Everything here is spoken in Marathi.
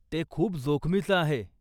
ते खूप जोखमीचं आहे.